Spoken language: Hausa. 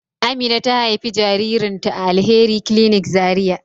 Amina ta haifi jaririn ta a Alheri clinic Zaria